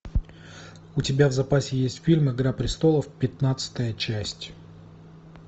у тебя в запасе есть фильм игра престолов пятнадцатая часть